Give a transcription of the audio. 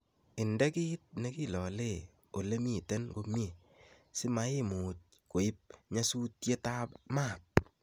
inde kiit nekiloole ole miten komie simaimuuch koip nyasutietab maat